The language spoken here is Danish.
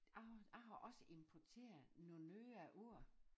Jeg har jeg har også importeret nogen nye ord